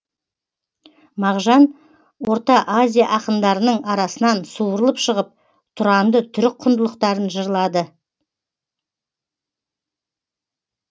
мағжан орта азия ақындарының арасынан суырылып шығып тұранды түрік құндылықтарын жырлады